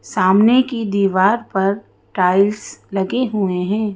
सामने की दीवार पर टाइल्स लगे हुए हैं।